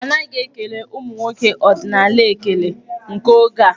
A naghị ekele ụmụ nwoke ọdịnaal ekele nke oge a.